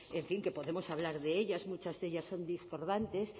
en fin que podemos hablar de ellas muchas de ellas son discordantes